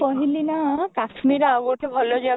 କହିଲି ନା କାଶ୍ମୀରର ଆଉ ଗୋଟେ ଭଲ ଜାଗା